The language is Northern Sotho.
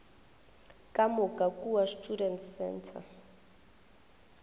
ka moka kua students centre